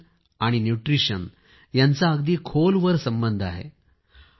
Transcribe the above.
nation आणि nutrition यांचा अगदी खोलवर संबंध आहे